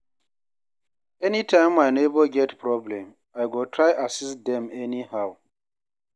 Anytime my neighbor get problem, I go try assist dem anyhow.